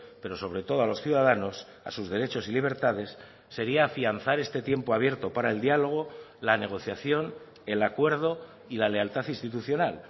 pero sobre todo a los ciudadanos a sus derechos y libertades sería afianzar este tiempo abierto para el diálogo la negociación el acuerdo y la lealtad institucional